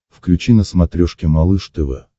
включи на смотрешке малыш тв